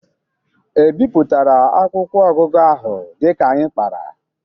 E bịpụtara akwụkwọ ọgụgụ ahụ dịka anyị kpara?